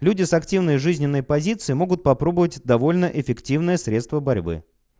люди с активной жизненной позицией могут попробовать довольно эффективное средство борьбы